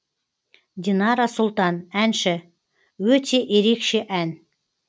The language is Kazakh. динара сұлтан әнші өте ерекше ән